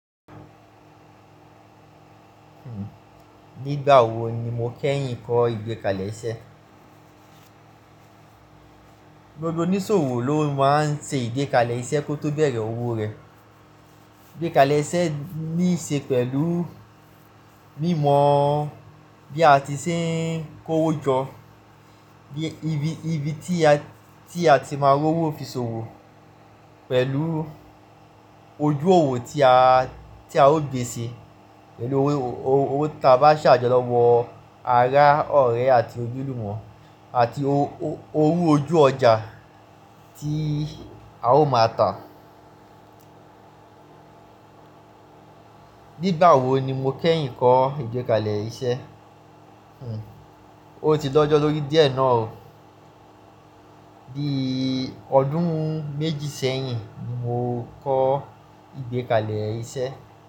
Nígbà wo ni mo kẹ́yìn kọ́ ìgbékalẹ̀ iṣẹ́? Gbogbo oníṣòwò ló máa ń ṣe ìgbékalẹ̀ iṣẹ́ kó tó bẹ̀rẹ̀ owó rẹ̀. Ìgbékalẹ̀ iṣẹ́ níí ṣe pẹ̀lú mímọ bí a ti ṣe ń kó owó jọ, bí ibi tí a ti máa rọ owó fi ṣòwò pẹ̀lú ojú òwò tí a ó gbé e ṣe pẹ̀lú owó tí a bá ṣàjọ lọ́wọ́ ará ọ̀rẹ́ àti ojúlùmọ̀ àti owó ojú ọjà tí a ó máa tà. Nígbà wo ni mo kẹ́yìn kọ́ ìgbékalẹ̀ iṣẹ́? O ti dọ́jọ́ lórí díẹ̀ náà o. Bii ọdún méjì sẹ́yìn ni mo kọ́ ìgbékalẹ̀ iṣẹ́